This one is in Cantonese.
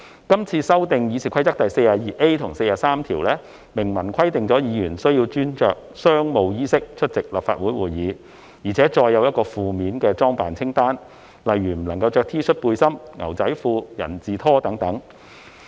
今次修訂《議事規則》第 42a 及43條，明文規定議員須穿着商務衣飾出席立法會會議，並載有—個負面的裝扮清單，例如不能穿着 T 恤、背心、牛仔褲及人字拖等。